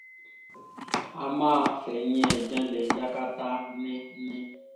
a máa fẹ̀yìn ẹ̀ janlẹ̀ yakata ni ni